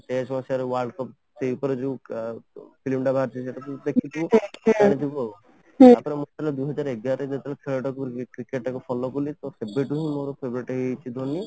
ଉଣେଇଶ ତୈୟାଶୀ ମସିହା ର World Cup ସେଇ ଉପରେ ଯୋଉ ଫିଲ୍ମ ଟା ବାହାରିଥିଲା ସେଇଟା ତୁ ଦେଖିଥିବୁ ତାପରେ ମୁଁ ଯେତେବେଳେ ଦି ହଜାର ଏଗାର ରେ ଯେତେବେଳେ ଖେଳ ଟା କୁ cricket ଟା କୁ follow କଲି ତ ସେବେ ଠୁ ହିଁ ମୋର favourite ହେଇଯାଇଛି ଧୋନି